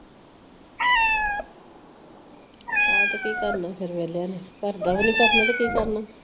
ਆਉ ਤੇ ਕੀ ਕਰਨਾ ਫਿਰ ਵਿਹਲਿਆਂ ਨੇ। ਘਰ ਦਾ ਵੀ ਨਹੀ ਕਰਨਾ ਤੇ ਕੀ ਕਰਨਾ?